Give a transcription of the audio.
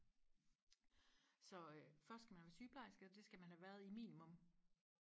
så øh først skal man være sygeplejerske og det skal man have været i minimum